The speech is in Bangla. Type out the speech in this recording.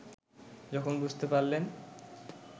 যখন বুঝতে পারলেন